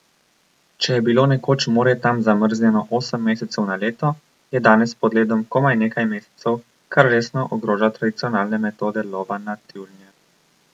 Če je bilo nekoč morje tam zamrznjeno osem mesecev na leto, je danes pod ledom komaj nekaj mesecev, kar resno ogroža tradicionalne metode lova na tjulnje.